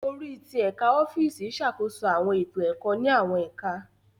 Orí ti Ẹka ọfiisi ṣàkóso awọn eto ẹkọ ni awọn ẹka.